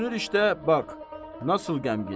Düşünür, işte bax, necə qəmgin?